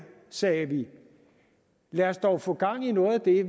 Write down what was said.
sagde vi lad os dog få gang i noget af det